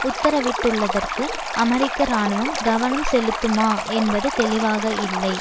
உத்தரவிட்டுள்ளதற்கு அமெரிக்க இராணுவம் கவனம் செலுத்துமா என்பது தெளிவாக இல்லை